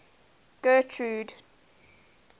getrude